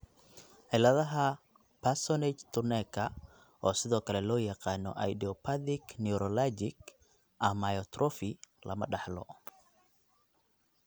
Ciladaha Parsonage Turnerka, oo sidoo kale loo yaqaano idiopathic neuralgic amyotrophy, lama dhaxlo.